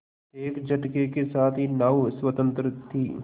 एक झटके के साथ ही नाव स्वतंत्र थी